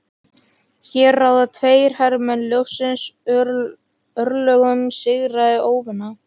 Hér ráða tveir hermenn ljóssins örlögum sigraðs óvinar.